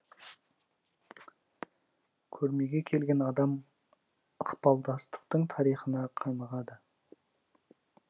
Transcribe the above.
көрмеге келген адам ықпалдастықтың тарихына қанығады